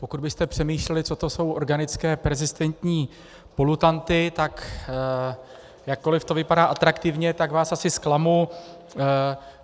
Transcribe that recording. Pokud byste přemýšleli, co to jsou organické perzistentní polutanty, tak jakkoliv to vypadá atraktivně, tak vás asi zklamu.